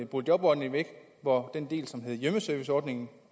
boligjobordningen væk hvor den del som hed hjemmeserviceordningen